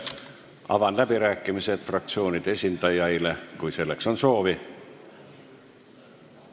Avan läbirääkimised fraktsioonide esindajaile, kui selleks on soovi.